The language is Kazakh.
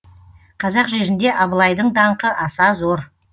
қазақ жерінде абылайдың даңқы аса зор